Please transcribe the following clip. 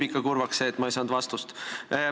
Mind teeb kurvaks see, et ma ei saanud vastust.